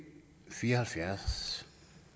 fire og halvfjerds